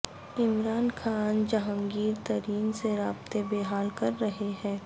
عمران خان جہانگیر ترین سے رابطے بحال کررہے ہیں